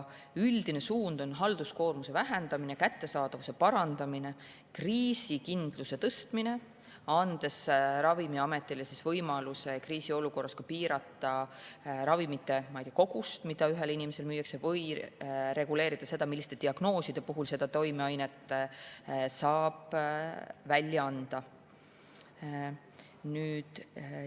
Üldine suund on halduskoormuse vähendamine, kättesaadavuse parandamine ja kriisikindluse tõstmine, andes Ravimiametile võimaluse kriisiolukorras piirata ravimite kogust, mida ühele inimesele müüakse, ning reguleerida seda, milliste diagnooside puhul konkreetset toimeainet saab.